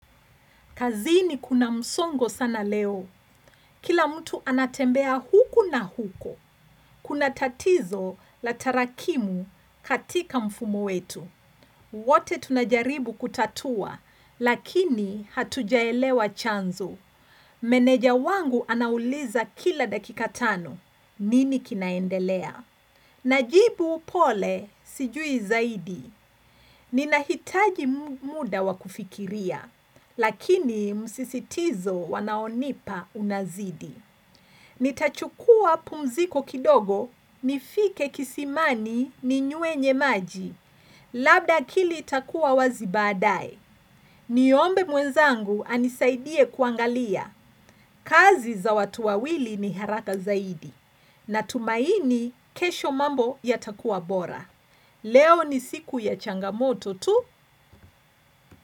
Kazini kuna msongo sana leo. Kila mtu anatembea huku na huko. Kuna tatizo la tarakimu katika mfumo wetu. Wote tunajaribu kutatua lakini hatujaelewa chanzo. Meneja wangu anauliza kila dakika tano. Nini kinaendelea? Najibu upole sijui zaidi, ninahitaji muda wa kufikiria, lakini msisitizo wanaonipa unazidi. Nitachukua pumziko kidogo, nifike kisimani ninyuenye maji, labda akili takua wazi baadae. Niombe mwenzangu anisaidie kuangalia, kazi za watu wawili ni haraka zaidi, natumaini kesho mambo yatakuwa bora. Leo ni siku ya changamoto tu.